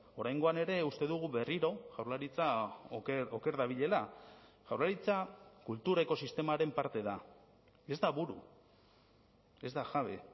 oraingoan ere uste dugu berriro jaurlaritza oker dabilela jaurlaritza kultur ekosistemaren parte da ez da buru ez da jabe